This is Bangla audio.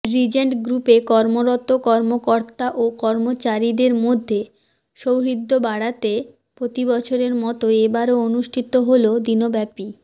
রিজেন্ট গ্রুপে কর্মরত কর্মকর্তা ও কর্মচারীদের মধ্যে সৌহৃদ্য বাড়াতে প্রতিবছরের মতো এবারও অনুষ্ঠিত হলো দিনব্যাপী